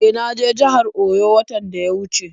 E, na je jihar Oyo watan da ya wuce.